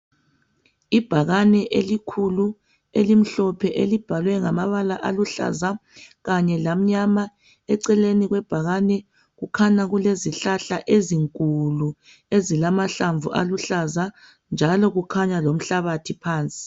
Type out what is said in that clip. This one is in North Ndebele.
Ibhakane elikhulu elimhlophe elibhalwe ngamabala aluhlaza kanye lamnyama. Eceleni kwebhakani kukhanya kulezihlahla ezinkulu ezilamahlamvu aluhlaza .Njalo kukhanya lomhlabathi phansi.